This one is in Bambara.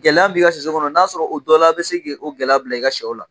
Gɛlɛya min b'i ka sɛso kɔnɔ n'a sɔrɔ o dɔw la bɛ se ka o gɛlɛya bila i ka sɛw la